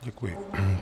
Děkuji.